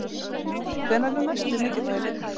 Hvenær er næsti mikilvægi leikur?